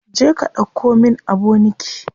Je ka ɗauko min aboniki.